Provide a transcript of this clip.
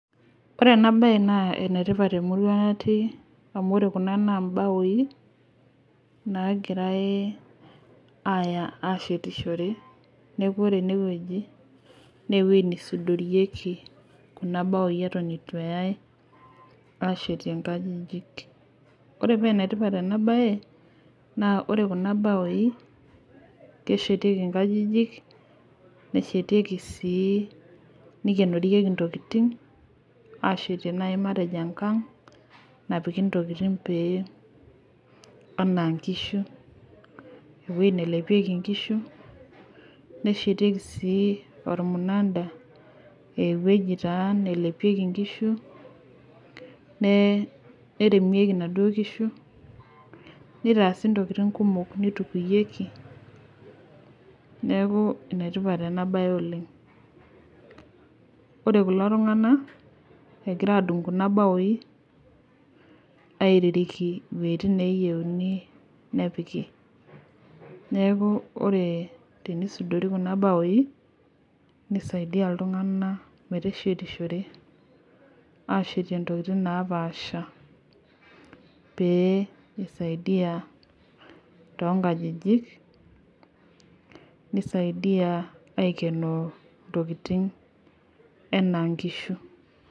Ore ena bae naa ene tipat temurua natii, naagirae aaya ashetishore. neekj ore ene wueji naa wueji neshiteshoreki, Kuna baou Eton eitu eyae aashetie nkajijik. ore paa ene tipat ena bae, naa ore Kuna baoi. neshetieki nkajijik, neshetaki sii matejo enkang napiki ntokitin, pee anaa nkishu. ewueji nelepieki nkishu. neshetieki sii olmunada. ewueji taa nelepieki nkishu, neremieki nkishu. nitaasi ntokitin kumok. neitukuyieki. neeku ene tipat ena bae oleng. ore kulo tunganak egira adung Kuna baoi. aiririki iwuejitin neeyieuni nepiki. neeku ore tenisudori Kuna baou. nisaidia iltunganak, meteshitore. aashetie ntokitin napaasha. pee isaidia too nkajijik. nisaidia aikenoo ntokitin anaa nkishu